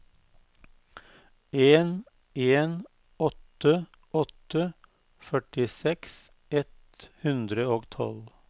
en en åtte åtte førtiseks ett hundre og tolv